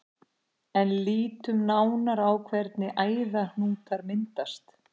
En lítum nánar á hvernig æðahnútar myndast.